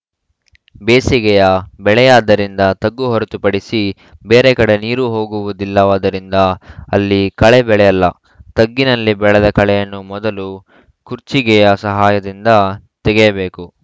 ಬೇಸಿಗೆಯ ಬೆಳೆಯಾದ್ದರಿಂದ ತಗ್ಗು ಹೊರತುಪಡಿಸಿ ಬೇರೆ ಕಡೆ ನೀರು ಹೋಗುವುದಿಲ್ಲವಾದ್ದರಿಂದ ಅಲ್ಲಿ ಕಳೆ ಬೆಳೆಯಲ್ಲ ತಗ್ಗಿನಲ್ಲಿ ಬೆಳೆದ ಕಳೆಯನ್ನು ಮೊದಲು ಕುರ್ಚಿಗೆಯ ಸಹಾಯದಿಂದ ತಗೆಯಬೇಕು